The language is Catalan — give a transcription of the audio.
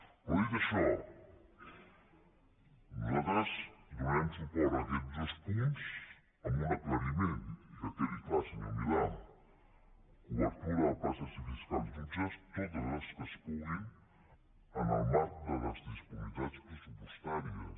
però dit això nosaltres donarem suport a aquests dos punts amb un aclariment i que quedi clar senyor milà cobertura de places de fiscals i jutges totes les que es puguin en el marc de les disponibilitats pressupostàries